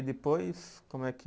E depois, como é que